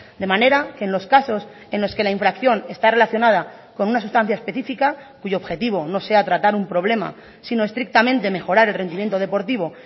de manera que en los casos en los que la infracción está relacionada con una sustancia específica cuyo objetivo no sea tratar un problema sino estrictamente mejorar el rendimiento deportivo